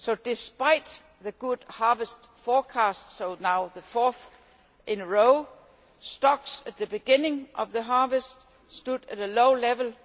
Despite the good harvest forecasts the fourth in a row now stocks at the beginning of the harvest stood at a low level.